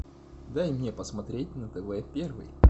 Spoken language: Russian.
дай мне посмотреть на тв первый